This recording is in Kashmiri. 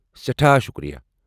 سٮ۪ٹھاہ شکریہ۔